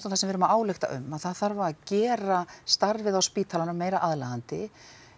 það sem við erum að álykta um að það þarf að gera starfið á spítalanum meira aðlaðandi